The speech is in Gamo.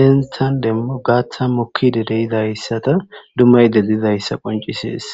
henththan demo gaaththan mokkiide de7izayssatha dummayiide dizayssa qonccissees.